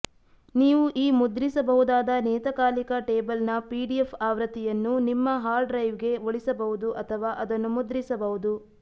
ನೀವು ಈ ಮುದ್ರಿಸಬಹುದಾದ ನಿಯತಕಾಲಿಕ ಟೇಬಲ್ನ ಪಿಡಿಎಫ್ ಆವೃತ್ತಿಯನ್ನು ನಿಮ್ಮ ಹಾರ್ಡ್ ಡ್ರೈವ್ಗೆ ಉಳಿಸಬಹುದು ಅಥವಾ ಅದನ್ನು ಮುದ್ರಿಸಬಹುದು